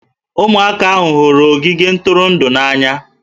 Ụmụaka hụrụ ogige ntụrụndụ n'anya